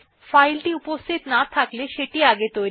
যদি ফাইলটি উপস্থিত না থাকে সেটি নির্মিত হয়